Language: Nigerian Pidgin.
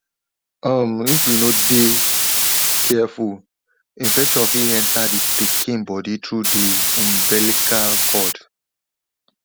um if we no de careful infection fit enter the pikin body through the umbilical cord